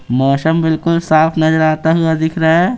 मौसम बिल्कुल साफ नजर आता हुआ दिख रहा है।